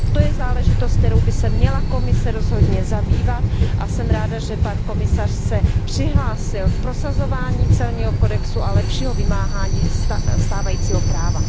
To je záležitost, kterou by se měla Komise rozhodně zabývat, a jsem ráda, že pan komisař se přihlásil k prosazování celního kodexu a lepšího vymáhání stávajícího práva.